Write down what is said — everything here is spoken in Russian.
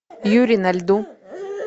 юри на льду